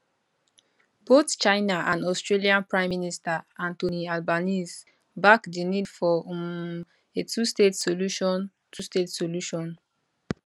bothchina and australianprime minister anthony albanese back di need for um a twostate solution twostate solution